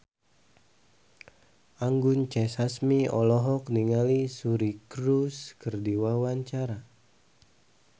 Anggun C. Sasmi olohok ningali Suri Cruise keur diwawancara